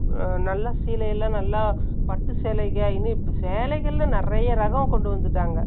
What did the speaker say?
நல்லா சீலை எல்லாம் நல்லா, பட்டு சேலைகள் சேலைகள்ல நிறைய ரகம் கொண்டு வந்துட்டாங்க. ி